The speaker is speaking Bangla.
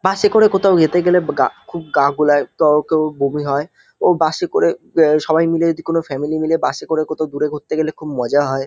বাসে করে কোতাও ইয়েতে গেলে গা খুব গা গোলাই ত কেও বমি হয় ও বাসে করে ইয়ে সবাই মিলে যদি কোনো ফ্যামিলি মিলে বাসে করে কথাও দূরে ঘুরতে গেলে মজা হয়।